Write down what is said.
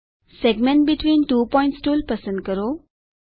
segment between two points tool પસંદ કરો